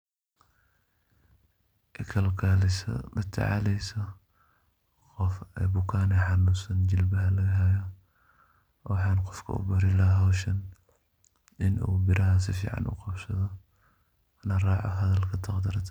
Kalkaliso latacaleysa Qoof ee bukan oo xanunsan jelbaha lagaha haya waxan qoofka u bari lahay hooshan ini beeraha sufican u guruxasdoh la racoh hadalka taqatraka .